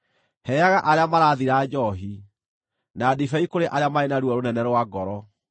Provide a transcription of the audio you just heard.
Heaga arĩa marathira njoohi, na ndibei kũrĩ arĩa marĩ na ruo rũnene rwa ngoro;